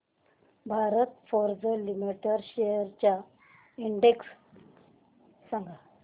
Bharat forge limited shares चा index सांगा